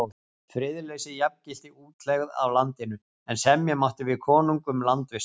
Friðleysi jafngilti útlegð af landinu, en semja mátti við konung um landvist.